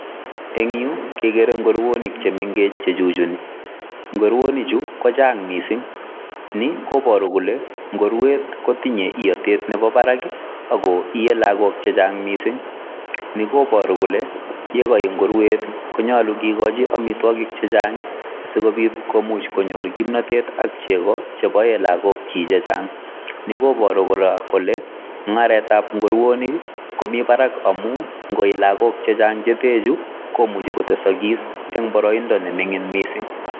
Yu kegere ngurunik che mengech che chuchuni. Nguronichu kochang' mising', ni koboru kole ngurwet kotinye iotet nemi barak ago iee lagok che chang' mising'. Ni koboru kole ye koi ngurwet konyole kigochi amitwogik che chang' asikobit koyor kimnatet ak chego cheboen lagokyik che chang ni koboru kora kole mung'aretab komi barak amun ngooi lagok chechang' che ten chu komuche kotesokis en boroindo ne ming'in mising'.